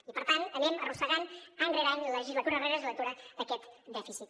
i per tant anem arrossegant any rere any legislatura rere legislatura aquest dèficit